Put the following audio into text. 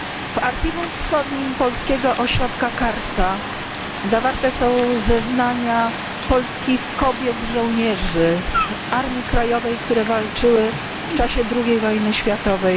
W archiwum wschodnim polskiego ośrodka KARTA zawarte są zeznania polskich kobiet żołnierzy Armii Krajowej, które walczyły z okupantem niemieckim w czasie II wojny światowej.